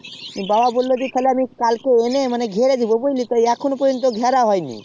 বাবা বললো আমি তাকে এনে ঘিরে দিবো এখন পযন্ত ঘেরা হয়নি